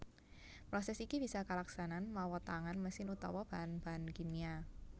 Prosès iki bisa kalaksanan mawa tangan mesin utawa bahan bahan kimia